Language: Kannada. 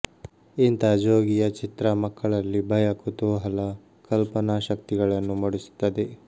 ಇಂಥ ಜೋಗಿಯ ಚಿತ್ರ ಮಕ್ಕಳಲ್ಲಿ ಭಯ ಕುತೂಹಲ ಕಲ್ಪನಾಶಕ್ತಿಗಳನ್ನು ಮೂಡಿಸುತ್ತದೆ